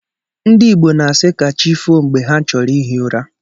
Ndị Igbo na-asi ka chi foo mgbe ha chọrọ ihi ụra.